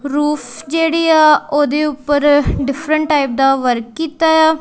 Roof ਜਿਹੜੀ ਆ ਉਹਦੇ ਉੱਪਰ ਡਿਫਰੈਂਟ ਟਾਈਪ ਦਾ ਵਰਕ ਕੀਤਾ ਆ।